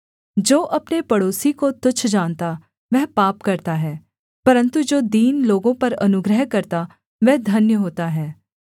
जो अपने पड़ोसी को तुच्छ जानता वह पाप करता है परन्तु जो दीन लोगों पर अनुग्रह करता वह धन्य होता है